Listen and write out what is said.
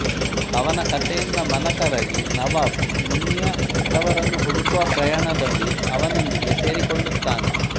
ಅವನ ಕಥೆಯಿಂದ ಮನಕರಗಿ ನವಾಬ್ ಮುನ್ನಿಯ ಹೆತ್ತವರನ್ನು ಹುಡುಕುವ ಪ್ರಯಾಣದಲ್ಲಿ ಅವನೊಂದಿಗೆ ಸೇರಿಕೊಳ್ಳುತ್ತಾನೆ